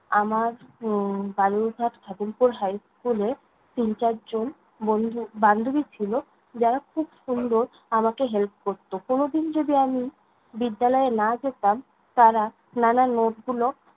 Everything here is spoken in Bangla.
আমার উম বালুরঘাট খাদিমপুর হাই স্কুল এ, তিন-চার জন বন্ধু বান্ধবী ছিল যারা খুব সুন্দর আমাকে help করতো। কোনোদিন যদি আমি বিদ্যালয়ে না যেতাম, তারা নানান note গুলো